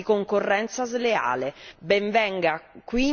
È una sorta di concorrenza sleale.